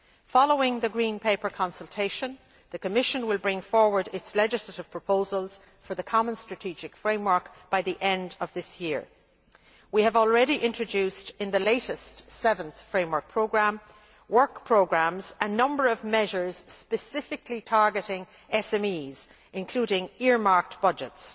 Following the Green Paper consultation, the Commission will bring forward its legislative proposals for the common strategic framework by the end of this year. We have already introduced in the latest Seventh Framework Programme work programmes a number of measures specifically targeting SMEs, including earmarked budgets.